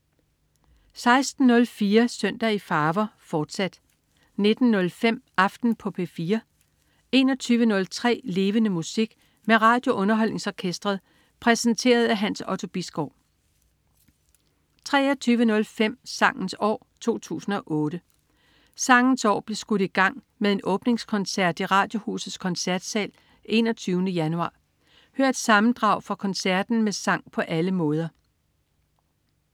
16.04 Søndag i farver, fortsat 19.05 Aften på P4 21.03 Levende Musik. Med RadioUnderholdningsOrkestret. Præsenteret af Hans Otto Bisgaard 23.05 Sangens år 2008. Sangens år blev skudt i gang med en åbningskoncert i Radiohusets Koncertsal 21. januar. Hør et sammendrag fra koncerten med sang på alle måder